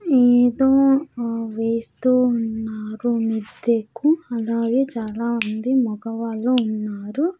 ఏదో ఆ వేస్తూ ఉన్నారు మిద్దెకు అలాగే చాలామంది మగవాళ్ళు ఉన్నారు.